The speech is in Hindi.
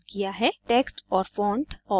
* text और font